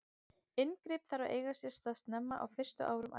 Inngrip þarf að eiga sér stað snemma, á fyrstu árum ævinnar.